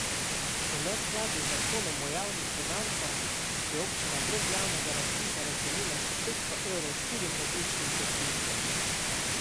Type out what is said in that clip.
V neskladju z zakonom o javnih financah je občina brez javnega razpisa razdelila še petsto evrov štirim različnim prosilcem.